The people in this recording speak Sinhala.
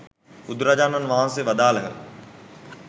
බුදුරජාණන් වහන්සේ වදාළහ.